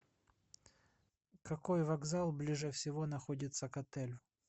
какой вокзал ближе всего находится к отелю